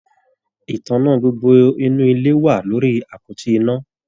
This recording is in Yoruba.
Ìtàná gbogbo inú ilé wà lórí àpótí iná.